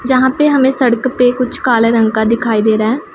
जहां पे हमें सड़क पे कुछ काले रंग का दिखाई दे रहा--